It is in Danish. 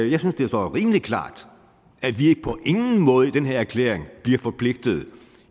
jeg synes det står rimelig klart at vi på ingen måde i den her erklæring bliver forpligtet